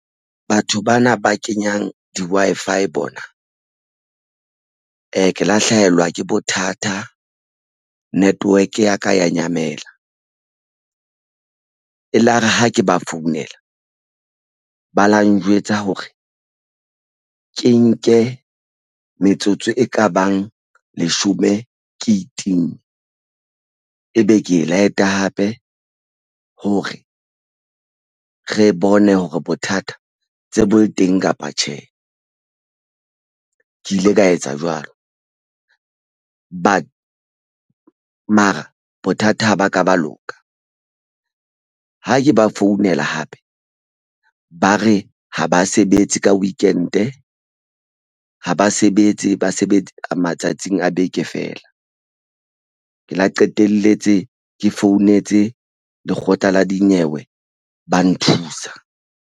Batho bana ba kenyang di-Wi-Fi bona ke la hlahelwa ke bothata network ya ka ya nyamela elare ha ke ba founela ba lo njwetsa hore ke nke metsotso e ka bang leshome ke itimme ebe ke e light-a hape hore re bone hore bothata tse bo le teng kapa tjhe, ke ile ka etsa jwalo mara bothata ba ka ba loka ha ke ba founela hape ba re ha ba sebetse ka weekend-e ha ba sebetse ba sebetsa matsatsing a beke fela ke la qetelletse ke founetse lekgotla la dinyewe ba nthusa.